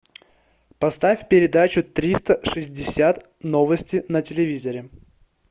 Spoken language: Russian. поставь передачу триста шестьдесят новости на телевизоре